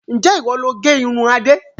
Ǹjẹ́ ìwọ loo gé irun Adé.